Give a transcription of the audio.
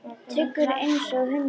Tryggur einsog hundur.